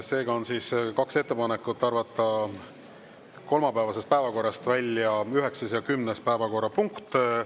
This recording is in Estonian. Seega on siis kaks ettepanekut: arvata kolmapäevasest päevakorrast välja 9. ja 10. päevakorrapunkt.